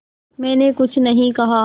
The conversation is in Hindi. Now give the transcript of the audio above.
मैंने कुछ नहीं कहा